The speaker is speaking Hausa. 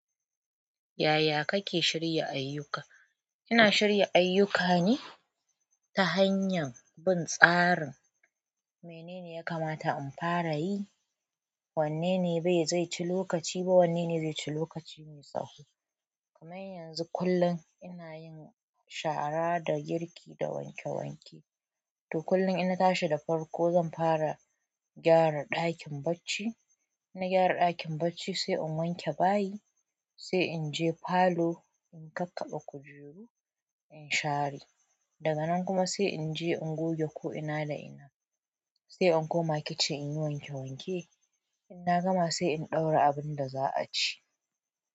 Yaya kake shirya ayyuka? Ina shirya ayyukani ta hanyar bin tsarin. Menene ya kamata in fara yi, wanne ne bai zai ci lokaci ba, wanne ne zai ci lokaci mai tsawo. Kaman yanzu kullum ina yin shara da girki da wanke wanke. To kullum in tashi da farko zan fara gyara ɗakin bacci, in na gyara ɗakin bacci sai in wanke bayi, sai in je falo in kakkaɓa kujeru in share, daga nan kuma sai in je in goge ko ina da ina, sai in koma kitchen in yi wanke wanke, in na gama sai in ɗaura abin da za a ci.